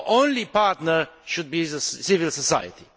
Our only partner should be civil society.